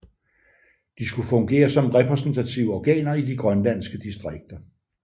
De skulle fungere som repræsentative organer i de grønlandske distrikter